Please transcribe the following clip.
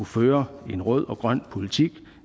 føre en rød og grøn politik